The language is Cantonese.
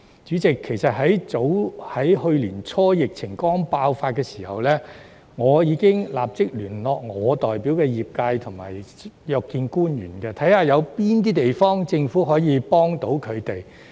主席，去年年初疫情剛爆發的時候，我已立即聯絡我代表的業界約見官員，看看政府在哪方面可以提供協助。